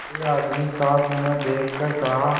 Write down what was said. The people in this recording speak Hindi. कोई आदमी साथ न देखकर कहा